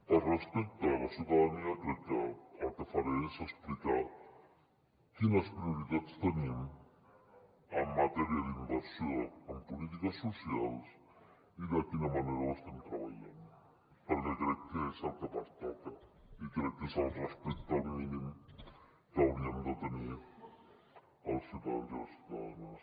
per respecte a la ciutadania crec que el que faré és explicar quines prioritats tenim en matèria d’inversió en polítiques socials i de quina manera ho estem treballant perquè crec que és el que pertoca i crec que és el respecte mínim que hauríem de tenir als ciutadans i a les ciutadanes